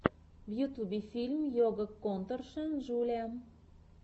в ютьюбе фильм ойга конторшен джулиа